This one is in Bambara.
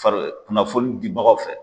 Fari kunnafoni dibagaw fɛ.